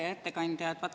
Hea ettekandja!